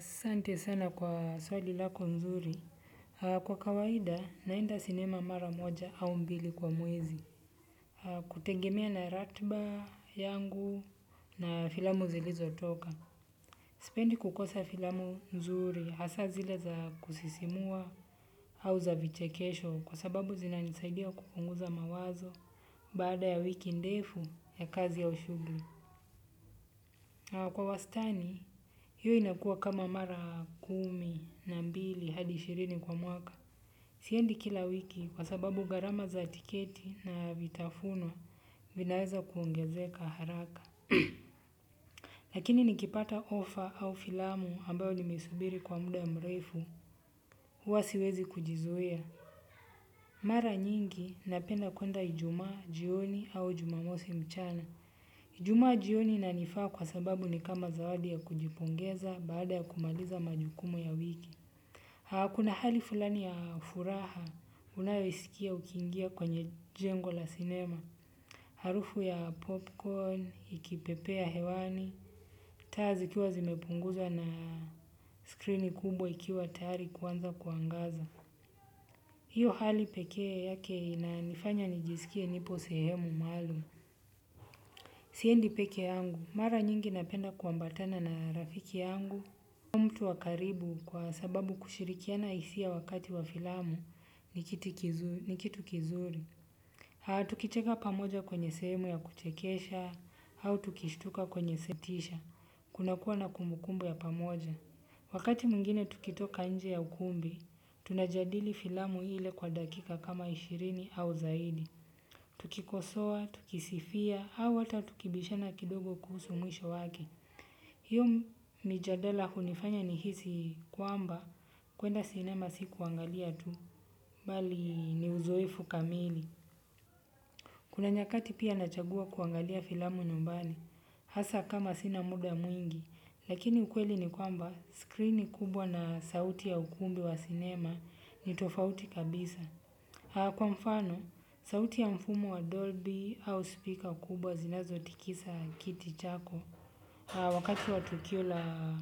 Sante sana kwa swali lako nzuri. Kwa kawaida, naenda sinema mara moja au mbili kwa muezi. Kutegemea na ratba yangu na filamu zilizo toka. Sipendi kukosa filamu nzuri, hasa zile za kusisimua au za vichekesho. Kwa sababu zina nisaidia kupunguza mawazo baada ya wiki ndefu ya kazi au shugli. Kwa wastani, hiyo inakua kama mara kumi na mbili hadi shirini kwa mwaka. Siendi kila wiki kwa sababu garama za tiketi na vitafuno vinaweza kuongezeka haraka. Lakini nikipata ofa au filamu ambayo nimesubiri kwa muda mrefu, huwasiwezi kujizuia. Mara nyingi napenda kuenda ijumaa jioni au jumamosi mchana Juma jioni na nifaa kwa sababu ni kama zawadi ya kujipongeza baada ya kumaliza majukumu ya wiki. Haa, kuna hali fulani ya furaha unayoisikia ukiingia kwenye jengo la sinema. Harufu ya popcorn, ikipepea hewani, taa zikiwa zimepunguzwa na screeni kubwa ikiwa tayari kuanza kuangaza. Hiyo hali pekee yake inanifanya nijisikie nipo sehemu maalum. Siendi peke yangu, mara nyingi napenda kuambatana na rafiki yangu. Mtu wa karibu kwa sababu kushirikiana hisia wakati wa filamu ni kitu kizuri. Haa, tukicheka pamoja kwenye sehemu ya kuchekesha, au tukishtuka kwenye setisha. Kuna kuwa na kumbukumbu ya pamoja. Wakati mwingine tukitoka nje ya ukumbi, tunajadili filamu ile kwa dakika kama ishirini au zaidi. Tukikosoa tukisifia au hata tukibishana kidogo kuhusu mwisho wake. Hiyo mijadala hunifanya ni hisi kwamba kuenda sinema si kuangalia tu, bali ni uzoefu kamili. Kuna nyakati pia nachagua kuangalia filamu nyumbani hasa kama sina muda mwingi. Lakini ukweli ni kwamba screeni kubwa na sauti ya ukumbi wa sinema ni tofauti kabisa. Kwa mfano, sauti ya mfumo wa Dolby au speaker kubwa zinazo tikisa kiti chako. Wakati wa tukio la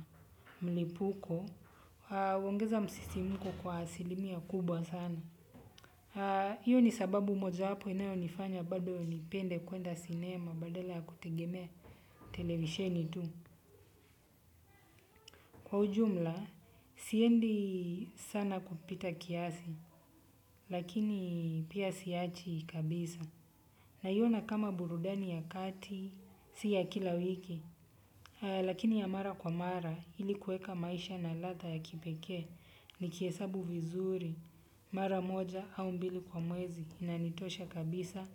mlipuko, huongeza msisimuko kwa asilimia kubwa sana. Iyo ni sababu mojawapo inayonifanya bado nipende kuenda cinema badala ya kutegemea televisheni tu. Kwa ujumla, siendi sana kupita kiasi, lakini pia siachi kabisa. Naiona kama burudani ya kati, si ya kila wiki, lakini ya mara kwa mara ili kuweka maisha na ladha ya kipekee nikihesabu vizuri, mara moja au mbili kwa mwezi inanitosha kabisa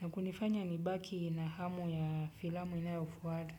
na kunifanya nibaki na hamu ya filamu inayofuata.